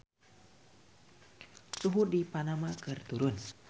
Suhu di Panama keur turun